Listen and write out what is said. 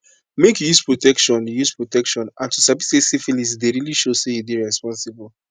make you use protection you use protection and to sabi say syphilis dey really show say you dey responsible